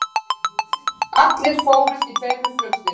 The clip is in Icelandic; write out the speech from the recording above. Allir fórust í tveimur flugslysum